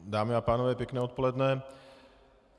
Dámy a pánové, pěkné odpoledne.